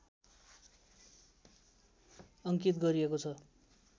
अङ्कित गरिएको छ